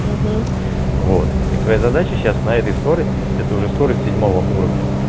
угу вот и твоя задача сейчас на этой скорости это уже скорость седьмого уровня